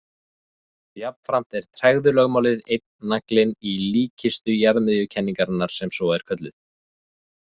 Jafnframt er tregðulögmálið einn naglinn í líkkistu jarðmiðjukenningarinnar sem svo er kölluð.